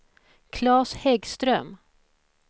Claes Häggström